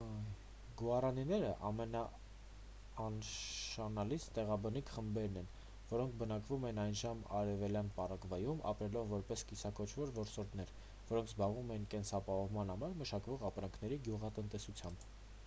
գուառանիները ամենանշանակալից տեղաբնիկ խմբերն էին որոնք բնակվում էին այժմյան արևելյան պարագվայում ապրելով որպես կիսաքոչվոր որսորդներ որոնք զբաղվում էին կենսաապահովման համար մշակվող ապրանքների գյուղատնտեսությամբ